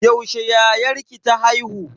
Yaushe yayarki ta haihu?